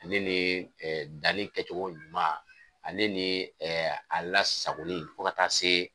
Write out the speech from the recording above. Ne ni danni kɛcogo ɲuma, a ne ni a lasagoni fo ka taa se